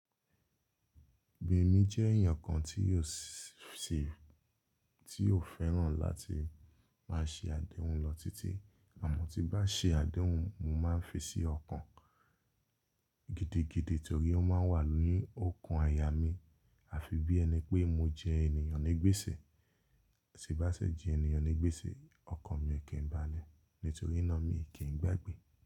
Èmi jẹ́ èèyàn kan tí yóò s sè, tí ó fẹ́ràn láti máa ṣe àdéhùn lọ títí. Uhm, tí n bá ṣe àdéhùn mo máa ń fi sí ọkàn gidigidi torí ó máa ń wà ní ookan àyà mí àfi bí ẹni pé mo jẹ ènìyàn ní gbèsè, tí n bá sì jẹ ènìyàn ní gbèsè, ọkàn mi í kì n bále nítorí náà mi í kì n gbàgbé.